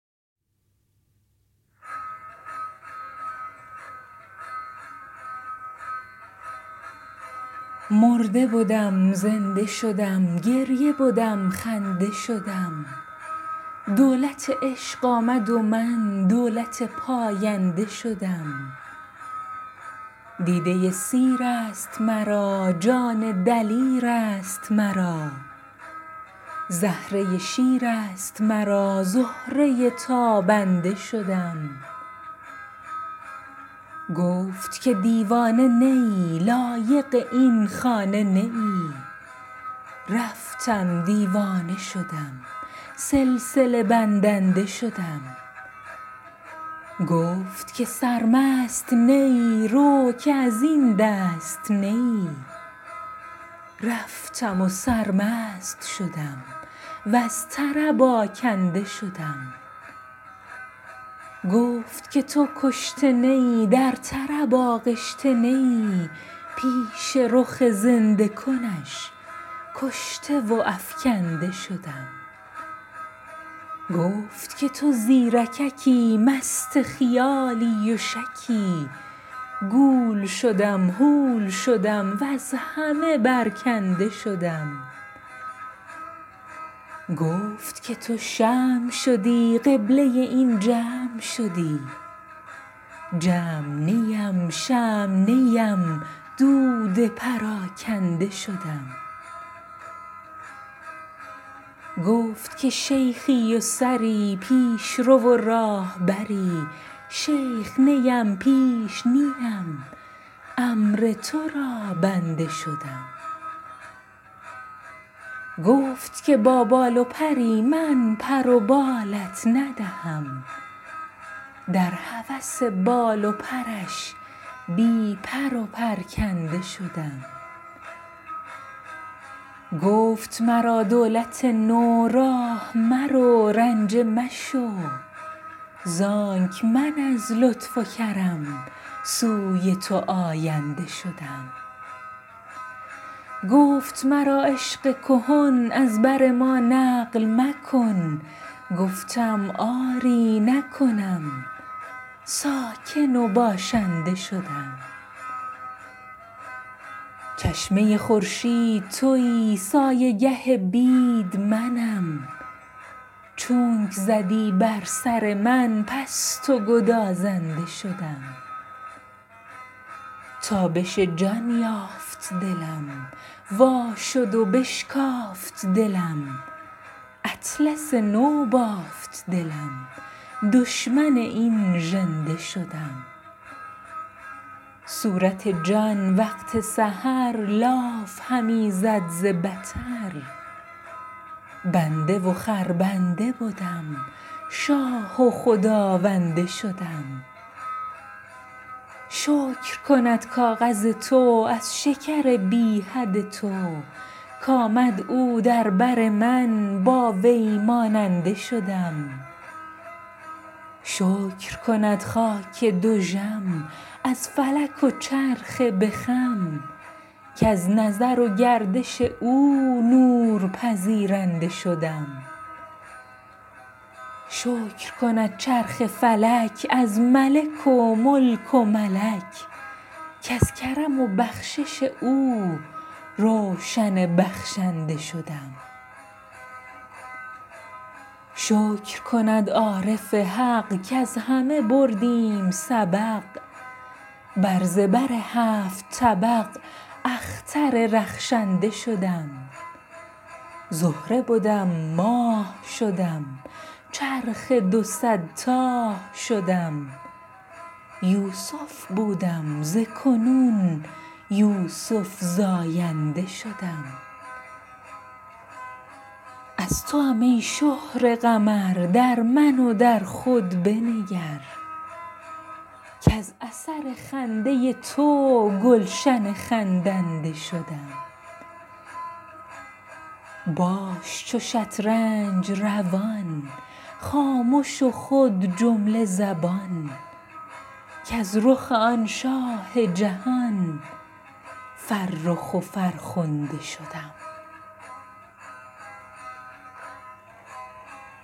مرده بدم زنده شدم گریه بدم خنده شدم دولت عشق آمد و من دولت پاینده شدم دیده سیر است مرا جان دلیر است مرا زهره شیر است مرا زهره تابنده شدم گفت که دیوانه نه ای لایق این خانه نه ای رفتم دیوانه شدم سلسله بندنده شدم گفت که سرمست نه ای رو که از این دست نه ای رفتم و سرمست شدم وز طرب آکنده شدم گفت که تو کشته نه ای در طرب آغشته نه ای پیش رخ زنده کنش کشته و افکنده شدم گفت که تو زیرککی مست خیالی و شکی گول شدم هول شدم وز همه برکنده شدم گفت که تو شمع شدی قبله این جمع شدی جمع نیم شمع نیم دود پراکنده شدم گفت که شیخی و سری پیش رو و راهبری شیخ نیم پیش نیم امر تو را بنده شدم گفت که با بال و پری من پر و بالت ندهم در هوس بال و پرش بی پر و پرکنده شدم گفت مرا دولت نو راه مرو رنجه مشو زانک من از لطف و کرم سوی تو آینده شدم گفت مرا عشق کهن از بر ما نقل مکن گفتم آری نکنم ساکن و باشنده شدم چشمه خورشید تویی سایه گه بید منم چونک زدی بر سر من پست و گدازنده شدم تابش جان یافت دلم وا شد و بشکافت دلم اطلس نو بافت دلم دشمن این ژنده شدم صورت جان وقت سحر لاف همی زد ز بطر بنده و خربنده بدم شاه و خداونده شدم شکر کند کاغذ تو از شکر بی حد تو کآمد او در بر من با وی ماننده شدم شکر کند خاک دژم از فلک و چرخ به خم کز نظر و گردش او نور پذیرنده شدم شکر کند چرخ فلک از ملک و ملک و ملک کز کرم و بخشش او روشن بخشنده شدم شکر کند عارف حق کز همه بردیم سبق بر زبر هفت طبق اختر رخشنده شدم زهره بدم ماه شدم چرخ دو صد تاه شدم یوسف بودم ز کنون یوسف زاینده شدم از توام ای شهره قمر در من و در خود بنگر کز اثر خنده تو گلشن خندنده شدم باش چو شطرنج روان خامش و خود جمله زبان کز رخ آن شاه جهان فرخ و فرخنده شدم